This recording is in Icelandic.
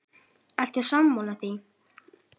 Ertu sammála því?